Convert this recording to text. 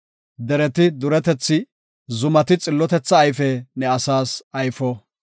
Dereti duretethi, zumati xillotetha ayfe ne asaas ayfo.